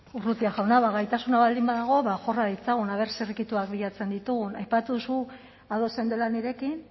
urrutia jauna ba gaitasuna baldin badago ba jorra ditzagun aber zirrikituak bilatzen ditugun aipatu duzu ados zeundela nirekin